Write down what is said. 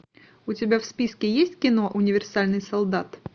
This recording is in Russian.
у тебя в списке есть кино универсальный солдат